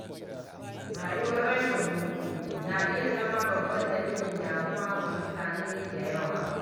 Rayuwar rashin hutu na iya zama babban dalilin damuwa ga mutane da yawa.